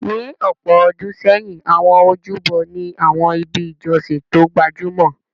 Ní ọ̀pọ̀ ọdún sẹ́yìn, àwọn ojúbọ ni àwọn ibi ìjọsìn tó gbajúmọ̀.